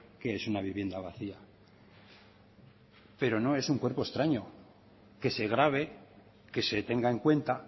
qué es una vivienda vacía pero no es un cuerpo extraño que se grave que se tenga en cuenta